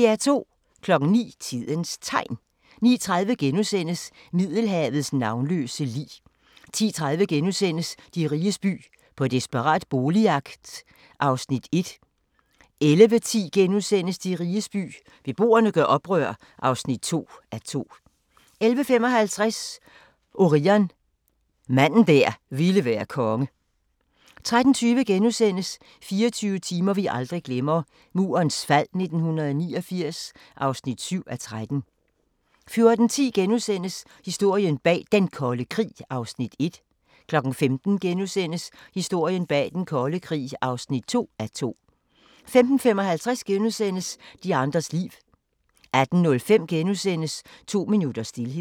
09:00: Tidens Tegn 09:30: Middelhavets navnløse lig * 10:30: De riges by - på desperat boligjagt (1:2)* 11:10: De riges by – beboerne gør oprør (2:2)* 11:55: Orion – manden der ville være konge 13:20: 24 timer, vi aldrig glemmer: Murens fald 1989 (7:13)* 14:10: Historien bag Den Kolde Krig (1:2)* 15:00: Historien bag Den Kolde Krig (2:2)* 15:55: De andres liv * 18:05: To minutters stilhed *